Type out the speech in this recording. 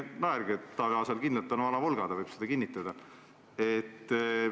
Ärge naerge, Taavi Aasal kindlalt on vana Volga, ta võib seda kinnitada.